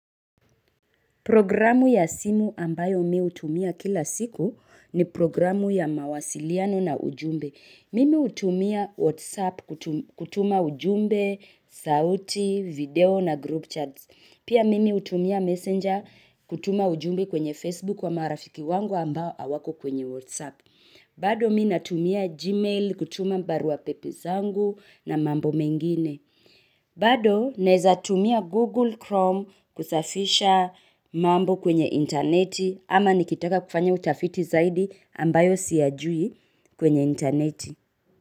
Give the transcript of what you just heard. Programu ya simu ambayo mi hutumia kila siku ni programu ya mawasiliano na ujumbe. Mimi hutumia WhatsApp kutuma ujumbe, sauti, video na group chats. Pia mimi hutumia Messenger kutuma ujumbe kwenye Facebook ama rafiki wangu ambao hawako kwenye WhatsApp. Bado mi natumia gmail kutuma barua pepe zangu na mambo mengine. Bado naezatumia Google Chrome kusafisha mambo kwenye interneti ama nikitaka kufanya utafiti zaidi ambayo siyajui kwenye interneti.